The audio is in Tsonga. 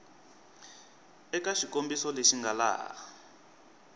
eka xikombiso lexi nga laha